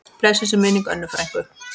Blessuð sé minning Önnu frænku.